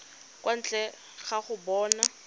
kwa ntle ga go bona